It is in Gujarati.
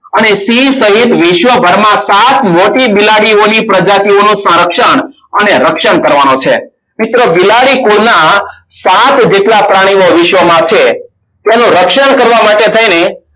અને સિંહ શહીત વિશ્વ ભરમાં સાત મોટી બિલાડીઓની પ્રજાતિઓનું સંરક્ષણ અને રક્ષણ કરવાનો છે. મિત્રો બિલાડી કુળના સાત જેટલા પ્રાણીઓ વિશ્વમાં છે. તેનું રક્ષણ કરવા માટે થઈને